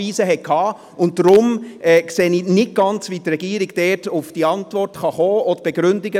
Deshalb sehe ich nicht ganz, wie die Regierung dort auf die vorgelegte Antwort kommen kann.